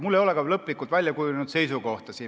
Mul ei ole ka lõplikult väljakujunenud seisukohta.